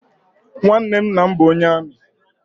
Nwanne nna m bụ onye amị.